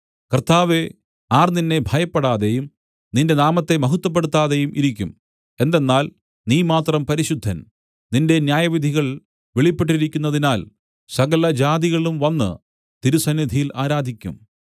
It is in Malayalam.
കർത്താവേ ആർ നിന്നെ ഭയപ്പെടാതെയും നിന്റെ നാമത്തെ മഹത്വപ്പെടുത്താതെയും ഇരിക്കും എന്തെന്നാൽ നീ മാത്രം പരിശുദ്ധൻ നിന്റെ ന്യായവിധികൾ വെളിപ്പെട്ടിരിക്കുന്നതിനാൽ സകലജാതികളും വന്നു തിരുസന്നിധിയിൽ ആരാധിക്കും